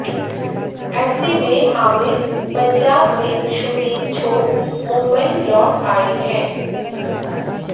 ऐसे में आमिर पंजाब में शूटिंग छोड़ मुंबई लौट आए हैं